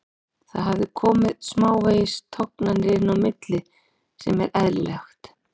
Það hafa komið smávegis tognanir inn á milli sem er eðlilegt.